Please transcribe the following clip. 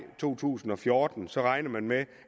to tusind og fjorten så regner man med